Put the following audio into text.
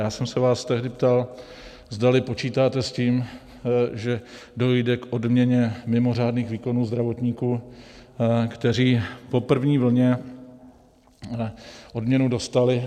Já jsem se vás tehdy ptal, zdali počítáte s tím, že dojde k odměně mimořádných výkonů zdravotníků, kteří po první vlně odměnu dostali.